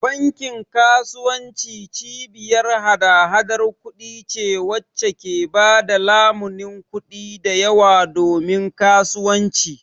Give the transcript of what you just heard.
Bankin kasuwanci cibiyar hada-hadar kuɗi ce wacce ke ba da lamunin kuɗi da yawa domin kasuwanci